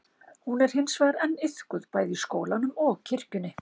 Hún er hins vegar enn iðkuð bæði í skólanum og kirkjunni.